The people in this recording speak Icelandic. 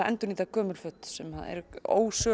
endurnýta gömul föt sem eru